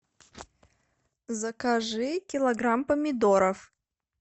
закажи килограмм помидоров